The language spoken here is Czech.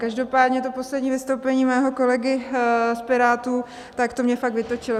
Každopádně to poslední vystoupení mého kolegy z Pirátů, tak to mě fakt vytočilo!